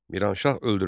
Miranşah öldürüldü.